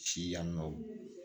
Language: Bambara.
Si yann'o